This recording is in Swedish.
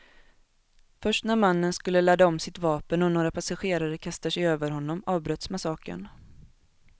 Först när mannen skulle ladda om sitt vapen och några passagerare kastade sig över honom avbröts massakern.